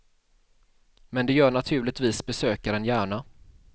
Men det gör naturligtvis besökaren gärna.